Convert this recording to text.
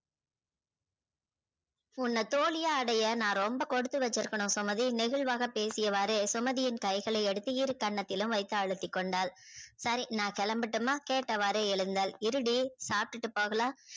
உன்ன தோழியா அடைய நா ரொம்ப குடுத்து வச்சிருக்கணும் சுமதி நெகில்வாக பேசிய வாறு சுமதியின் கைகளை எடுத்து இரு கன்னத்திலும் எடுத்து அழுத்தி கொண்டால்